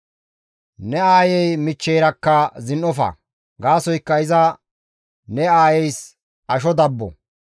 Ne aayey michcheyrakka zin7ofa; gaasoykka iza ne aayeys asho dabbo.